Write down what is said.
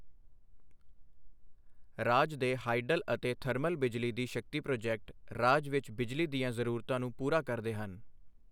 ਰਾਜ ਦੇ ਹਾਈਡਲ ਅਤੇ ਥਰਮਲ ਬਿਜਲੀ ਦੀ ਸ਼ਕਤੀ ਪ੍ਰੋਜੈਕਟ ਰਾਜ ਵਿੱਚ ਬਿਜਲੀ ਦੀਆਂ ਜ਼ਰੂਰਤਾਂ ਨੂੰ ਪੂਰਾ ਕਰਦੇ ਹਨ।